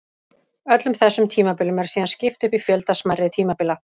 Öllum þessum tímabilum er síðan skipt upp í fjölda smærri tímabila.